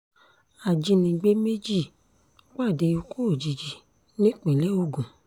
ajínigbé méjì pàdé ikú òjijì nípínlẹ̀ ogun